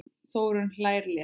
Þórunn hlær létt.